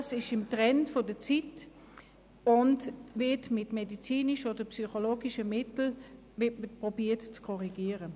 ADHS liegt im Trend, und es wird versucht, die Störung mit medizinischen oder psychologischen Mitteln zu korrigieren.